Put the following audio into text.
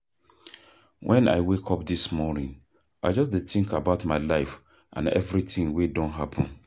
Wen I wake up dis morning I just dey think about my life and everything wey don happen.